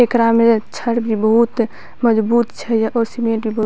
एकरा में छड़ भी बहुत मजबूत छै और सीमेंट भी बहुत --